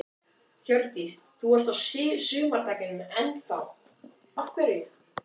Hjördís: Þú ert á sumardekkjunum enn þá, af hverju?